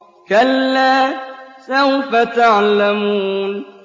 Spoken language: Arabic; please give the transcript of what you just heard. كَلَّا سَوْفَ تَعْلَمُونَ